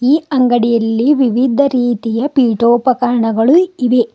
ಈ ಅಂಗಡಿಯಲ್ಲಿ ವಿವಿಧ ರೀತಿಯ ಪೀಡೋಪಕರಣಗಳು ಇವೆ.